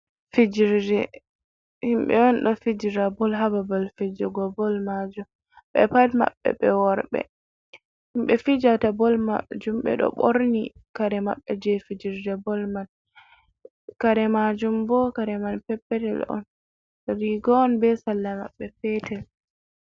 Fijerde himɓe on ɗo fijira bol hababal fejego bol majum, ɓe pat maɓɓe ɓe worɓe, himɓe fijata bol majum ɓeɗo ɓorni kare maɓɓe je fijirde bol man, kare majum bo kare man peppetel on rigoon be salla maɓɓe petel.